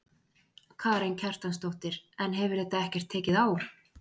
Karen Kjartansdóttir: En hefur þetta ekkert tekið á?